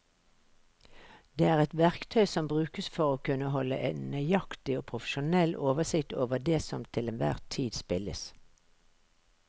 Det er et verktøy som brukes for å kunne holde en nøyaktig og profesjonell oversikt over det som til enhver tid spilles.